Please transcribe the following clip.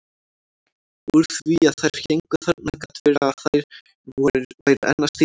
Úr því að þær héngu þarna gat verið að þær væru enn að stífna.